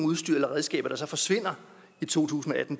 udstyr eller redskaber der så forsvinder i to tusind og atten